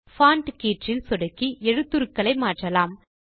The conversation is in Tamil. பான்ட் கீற்றில் சொடுக்கி எழுத்துருக்களையும் மாற்றலாம்